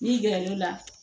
N'i gɛrɛ l'o la